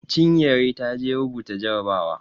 Chinyere ta je rubuta jarabawa.